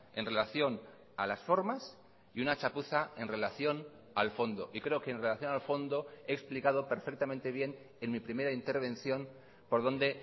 en relación a las formas y una chapuza en relación al fondo y creo que en relación al fondo he explicado perfectamente bien en mi primera intervención por donde